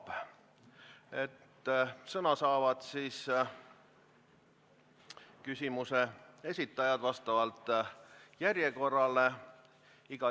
Küsimuse esitajad saavad sõna vastavalt järjekorrale.